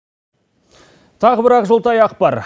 тағы бір ақжолтай ақпар